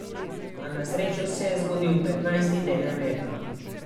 A na srečo se je zgodil petnajsti teden leta.